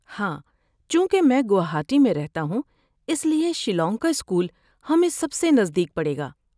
ہاں، چونکہ میں گوہاٹی میں رہتا ہوں اس لیے شیلانگ کا اسکول ہمیں سب سے نزدیک پڑے گا۔